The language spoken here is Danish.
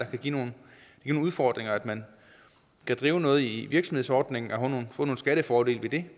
kan give nogle udfordringer at man kan drive noget i virksomhedsordning og få nogle skattefordele ved det